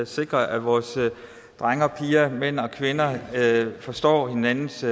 sikre at vores drenge og piger mænd og kvinder forstår hinandens